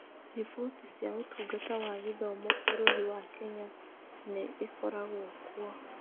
Riboti cia Ũtungata wa Gĩthomo bũrũri wa Kenya, nĩ ĩkoragwo kuo.